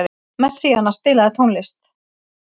Messíana, spilaðu tónlist.